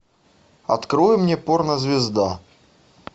открой мне порнозвезда